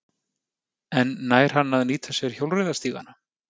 En nær hann að nýta sér hjólreiðastígana?